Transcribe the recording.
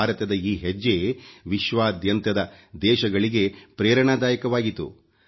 ಭಾರತದ ಈ ಹೆಜ್ಜೆ ವಿಶ್ವದಾದ್ಯಂತದ ದೇಶಗಳಿಗೆ ಪ್ರೇರಣಾದಾಯಕವಾಯಿತು